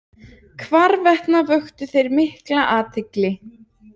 Hvarvetna vöktu þeir mikla athygli.